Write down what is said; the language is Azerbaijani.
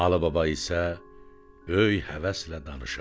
Alıbaba isə böyük həvəslə danışardı.